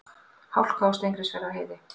Hálka á Steingrímsfjarðarheiði